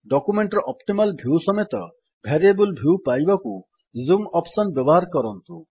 document ର optimal view ସମେତ variable view ପାଇବାକୁ ଜୁମ୍ ଅପ୍ସନ୍ ବ୍ୟବହାର କରନ୍ତୁ